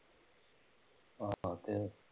ਹਾਂ ਹਾਂ